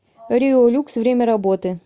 рио люкс время работы